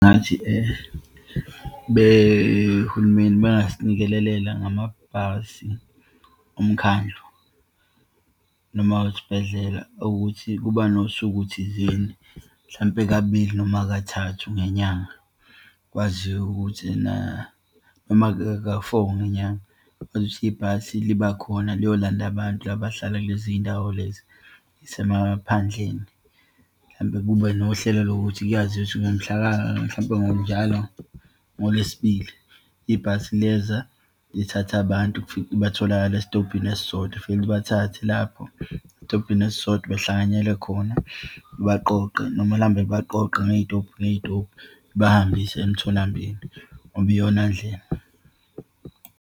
Ngathi uhulumeni bengasinikelelela ngamabhasi omkhandlu noma awesibhedlela ukuthi kuba nosuku thizeni, mhlampe kabili noma kathathu ngenyanga, kwaziwe ukuthi ena, noma ka-four ngenyanga, kwazi ukuthi ibhasi libakhona liyolanda abantu laba abahlala kuleziyindawo lezi eyisemaphandleni. Mhlampe kube nohlelo lokuthi kuyaziwa ukuthi ngomhlaka, mhlampe njalo ngoLwesibili, ibhasi liyeza lithatha abantu, batholakala esitobhini esisodwa, lifike libathathe lapho esitobhini esisodwa, behlanganyele khona. Libaqoqe noma lihambe libaqoqa ngeyitobhi, ngeyitobhi, libahambise emtholampilo, ngoba iyona ndlela.